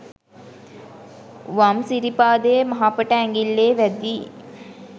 වම් සිරිපාදයේ මහපට ඇඟිල්ලේ වැදී